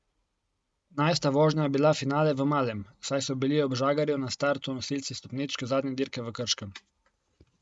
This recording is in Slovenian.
Enajsta vožnja je bila finale v malem, saj so bili ob Žagarju na startu nosilci stopničk zadnje dirke v Krškem.